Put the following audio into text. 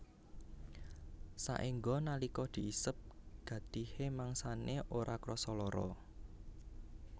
Saéngga nalika diisep gatihé mangsané ora krasa lara